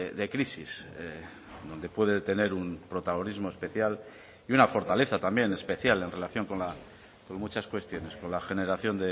de crisis donde puede tener un protagonismo especial y una fortaleza también especial en relación con muchas cuestiones con la generación